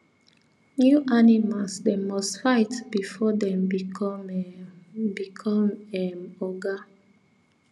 new animals them must fight before thm become um become um oga